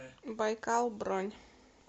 байкал бронь